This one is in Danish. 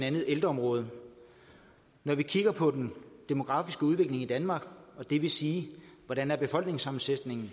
ældreområdet når vi kigger på den demografiske udvikling i danmark og det vil sige hvordan befolkningssammensætningen